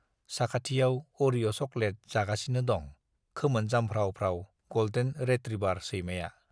साखाथियाव अरिअ' चक'लेट जागासिनो दं खोमोन जामफ्राव-फ्राव गल्डेन रेट्रिबार सैमाया।